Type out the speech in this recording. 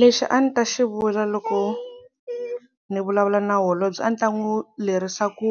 Lexi a ni ta xi vula loko ni vulavula na holobye a ni ta n'wi lerisa ku